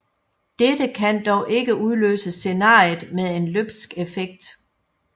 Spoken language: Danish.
Dette kan dog ikke udløse scenariet med en løbsk effekt